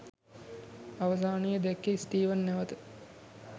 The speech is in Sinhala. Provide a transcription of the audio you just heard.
අවසානයේ දැක්කේ ස්ටීවන් නැවත